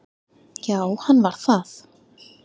Já, hann var það